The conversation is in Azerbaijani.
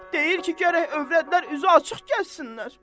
Deyir ki, gərək övrətlər üzü açıq gəzsinlər.